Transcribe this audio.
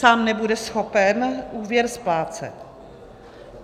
Sám nebude schopen úvěr splácet.